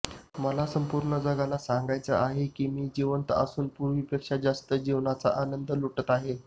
मला संपूर्ण जगाला सांगायचे आहे की मी जिवंत असून पूर्वीपेक्षा जास्त जीवनाचा आनंद लुटत आहे